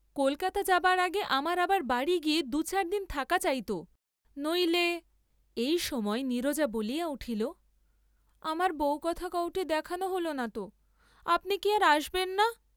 কলকাতা যাবার আগে আমার আবার বাড়ী গিয়ে দু চার দিন থাকা চাইত, নইলে এই সময় নীরজা বলিয়া উঠিল, আমার বউকথা কওটি দেখান হল না, আপনি কি আর আস্‌বেন না?